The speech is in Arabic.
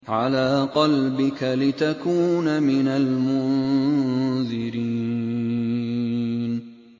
عَلَىٰ قَلْبِكَ لِتَكُونَ مِنَ الْمُنذِرِينَ